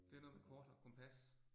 Det noget med kort og kompas